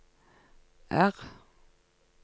R